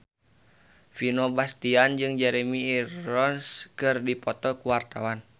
Vino Bastian jeung Jeremy Irons keur dipoto ku wartawan